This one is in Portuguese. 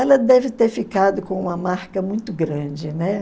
Ela deve ter ficado com uma marca muito grande, né?